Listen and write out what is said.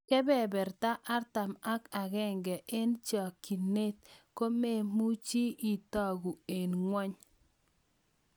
kebeberta artam ag agenge en cheginget cheginget kome muche itagu en ngweny